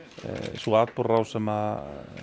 sú atburðarrás sem